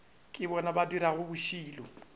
ke bona ba dirago bošilo